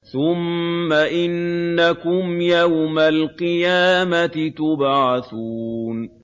ثُمَّ إِنَّكُمْ يَوْمَ الْقِيَامَةِ تُبْعَثُونَ